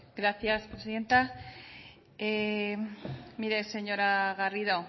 gracias presidenta mire señora garrido